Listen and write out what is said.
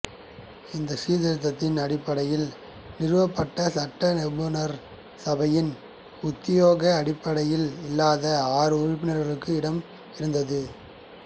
இந்தச் சீர்திருத்தத்தின் அடிப்படையில் நிறுவப்பட்ட சட்ட நிரூபண சபையில் உத்தியோக அடிப்படையில் இல்லாத ஆறு உறுப்பினர்களுக்கு இடம் இருந்தது